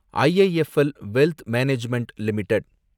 IIFL wealth management limited